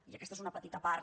i aquesta és una petita part